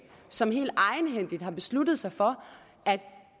som egenhændigt har besluttet sig for at